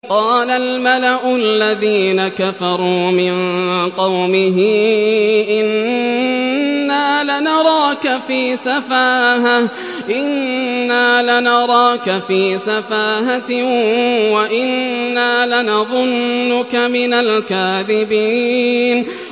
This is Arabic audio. قَالَ الْمَلَأُ الَّذِينَ كَفَرُوا مِن قَوْمِهِ إِنَّا لَنَرَاكَ فِي سَفَاهَةٍ وَإِنَّا لَنَظُنُّكَ مِنَ الْكَاذِبِينَ